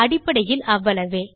அடிப்படையில் அவ்வளவே